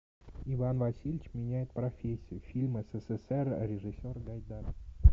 иван васильевич меняет профессию фильм ссср режиссер гайдай